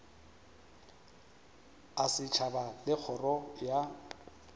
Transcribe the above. a setšhaba le kgoro ya